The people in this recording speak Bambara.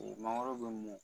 O mangoro bɛ mɔn